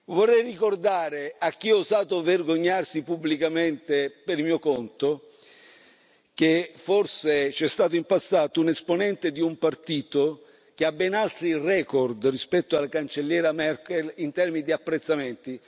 Vorrei ricordare a chi ha osato vergognarsi pubblicamente per mio conto che forse c'è stato in passato un esponente di un partito che ha ben altri record rispetto alla Cancelliera Merkel in termini di apprezzamenti.